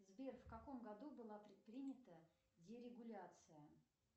сбер в каком году была предпринята дерегуляция